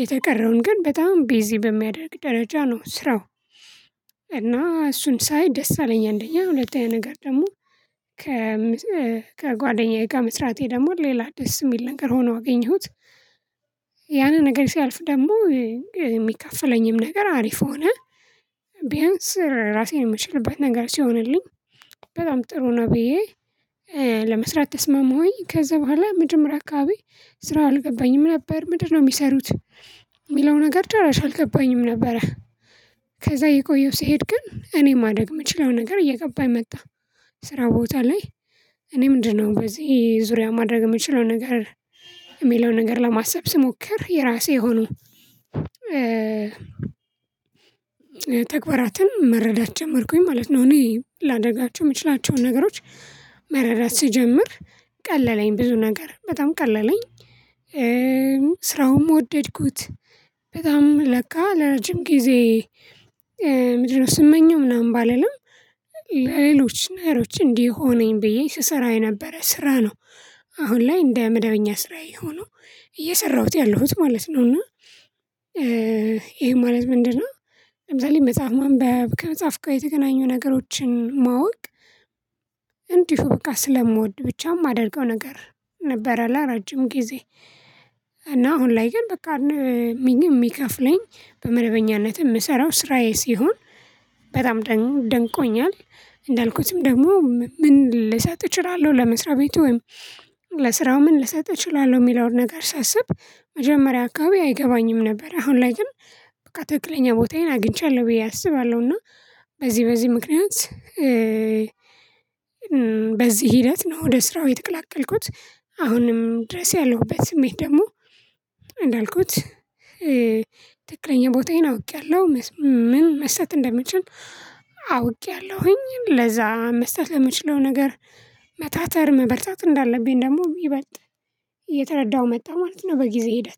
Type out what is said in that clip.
የተቀረውን ግን በጣም ቢዚ በሚያደርግ ደረጃ ነው ስራው። እና እሱን ሳይ ደስ አለኝ አንደኛ ሁለተኛ ነገር ደግሞ። ከጓደኛዬ ጋር መስራቴ ደግሞ ሌላ ደስ የሚል ነገር ሆኖ አገኘሁት። ያንን ነገር ሲያልፍ ደግሞ የሚከፈለኝም ነገር አሪፍ ሆነ። ቢያንስ ራሴን የምችልበት ነገር ሲሆንልኝ በጣም ጥሩ ነው ብዬ። ለመስራት ተስማምኩኝ ከዛ በኋላ መጀመሪያ አካባቢ ስራው አልገባኝም ነበር ምንድን ነው የሚሰሩት? የሚለው ነገር ጭራሽ አልገባኝም ነበረ። ከዛ እየቆየሁ ስሄድ ግን እኔ ማድረግ የምችለው ነገር እየገባኝ መጣ። ስራ ቦታ ላይ እኔ በዚህ ዙሪያ ማድረግ የምችለው ነገር የሚለውን ነገር ለማሰብ ስሞክር የራሴ የሆኑ። ተግባራትን መረዳት ጀመርኩኝ ማለት ነው። እኔ ላደርጋቸው ምችላቸውን ነገሮች መረዳት ስጀምር ቀለለኝ ብዙ ነገር በጣም ቀለለኝ። ስራውም ወደድኩት። በጣም ለካ ለረጅም ጊዜ ምንድነው ስመኘው ምናምን ባልልም ለሌሎች ነገሮች እንዲሆነኝ ብዬ ስሰራው የነበረ ስራ ነው። አሁን ላይ እንደ መደበኛ ስራዬ የሆነው እየሰራሁት ያለሁት ማለት ነው። እና ይሄ ማለት ምንድነው? ለምሳሌ መጽሐፍ ማንበብ ከመጽሐፍ ጋር የተገናኙ ነገሮችን ማወቅ። እንዲሁ በቃ ስለምወድ ብቻ የማደርገው ነገር ነበረ እና ለረጅም ጊዜ። እና አሁን ላይ ግን በቃ የሚከፍለኝ በመደበኛነትም የምሰራው ስራዬ ሲሆን በጣም ደግሞ ደንቆኛል። እንዳልኩትም ደግሞ ምን ልሰጥ እችላለሁ ለመስሪያ ቤቱ? ለስራ ምን ልሰጥ እችላለሁ የሚለውን ነገር ሳስብ። መጀመሪያ አካባቢ አይገባኝም ነበረ አሁን ላይ ግን በቃ ትክክለኛ ቦታዬን አግኝቻለሁ ብዬ አስባለሁ እና። በዚህ በዚህ ምክንያት በዚህ ሂደት ነው ወደ ስራው የተቀላቀልኩት አሁንም ድረስ ያለሁበት ስሜት ደግሞ። እንዳልኩት ትክክለኛ ቦታዬን አውቄያለሁ። ምን መስራት እንደምችል። አውቄያለሁኝ ለዛ መስራት የምችለው ነገር መታተር መበርታት እንዳለብኝ ደግሞ ይበልጥ እየተረዳሁ መጣሁ ማለት እው በ ጊዜ ሂደት